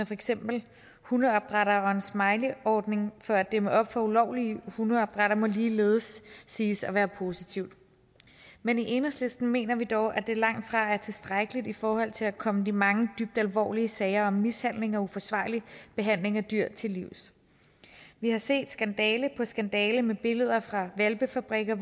for eksempel hundeopdrætteres smileyordning for at dæmme op for ulovlige hundeopdrættere må ligeledes siges at være positivt men i enhedslisten mener vi dog at det langtfra er tilstrækkeligt i forhold til at komme de mange dybt alvorlige sager om mishandling og uforsvarlig behandling af dyr til livs vi har set skandale på skandale med billeder fra hvalpefabrikker